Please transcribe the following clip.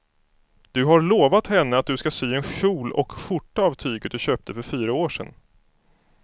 Du har lovat henne att du ska sy en kjol och skjorta av tyget du köpte för fyra år sedan.